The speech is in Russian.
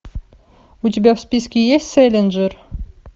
у тебя в списке есть сэлинджер